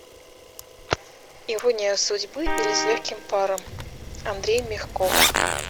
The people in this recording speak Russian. ирония судьбы или с легким паром андрей мягков